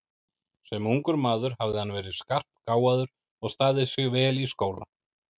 Sem ungur maður hafði hann verið skarpgáfaður og staðið sig vel í skóla.